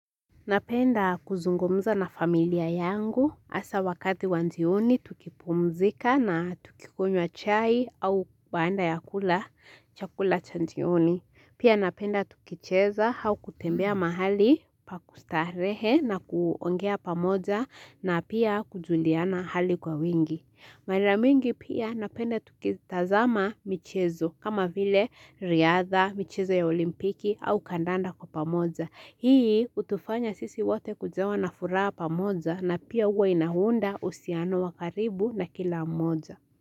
Napenda kuzungumza na familia yangu, hasa wakati wa jioni tukipumzika na tukikunywa chai au baada ya kula chakula cha jioni. Pia napenda tukicheza au kutembea mahali pakustarehe na kuongea pamoja na pia kujuliana hali kwa wingi. Mara mingi pia napenda tukitazama michezo kama vile, riadha, michezo ya olimpiki au kandanda kwa pamoja. Hii hutufanya sisi wote kujawa na fura pamoja na pia huwa inaunda uhusiano wa karibu na kila mmoja.